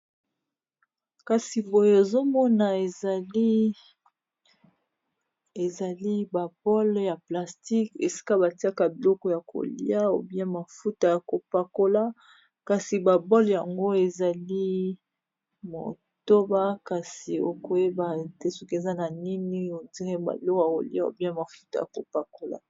Kasi boye ozomona ezali ba bole ya plastique esika batiaka biloko ya kolia ou bien mafuta ya kopakola, kasi ba bole yango ezali motoba kasi okoyeba te soki eza na nini eza neti ba biloko yako lia ou bien mafuta ya kopakola.